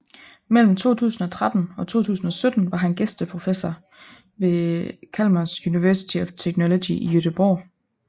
Mellem 2013 og 2017 var han gæsteprofessor ved Chalmers University of Technology i Göteborg